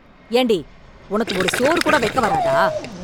ஏண்டி உனக்கு ஒரு சோறு கூட வைக்க வராதா